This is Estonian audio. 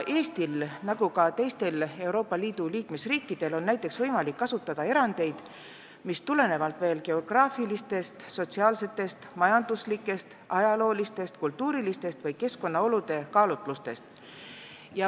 Eestil on nagu ka teistel Euroopa Liidu liikmesriikidel näiteks võimalik kasutada erandeid, mis tulenevad geograafilistest, sotsiaalsetest, majanduslikest, ajaloolistest, kultuurilistest või keskkonnaolude kaalutlustest.